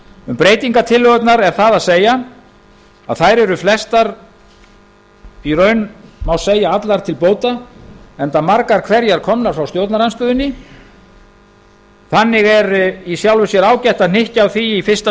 um breytingartillögurnar er það að segja að þær eru flestar í raun má segja allar til bóta enda margar hverjar komnar frá stjórnarandstöðunni þannig er í sjálfu sér ágætt að hnykkja á því í fyrsta